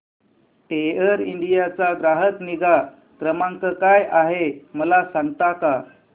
air India चा ग्राहक निगा क्रमांक काय आहे मला सांगता का